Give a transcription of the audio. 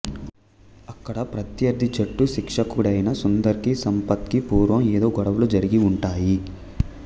అక్కడ ప్రత్యర్థి జట్టు శిక్షకుడైన సుందర్ కి సంపత్ కి పూర్వం ఏదో గొడవలు జరిగి ఉంటాయి